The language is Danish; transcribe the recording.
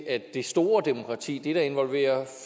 at i det store demokrati det der involverer